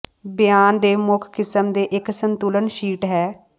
ਬਿਆਨ ਦੇ ਮੁੱਖ ਕਿਸਮ ਦੇ ਇੱਕ ਸੰਤੁਲਨ ਸ਼ੀਟ ਹੈ